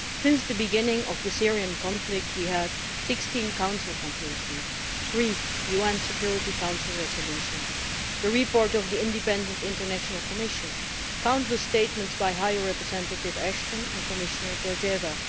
Since the beginning of the Syrian conflict we have had 16 Council conclusions, three UN Security Council resolutions, the report of the Independent International Commission and countless statements by High Representative Ashton and Commissioner Georgieva.